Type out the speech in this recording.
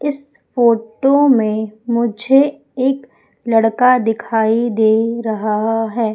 इस फोटो में मुझे एक लड़का दिखाई दे रहा है।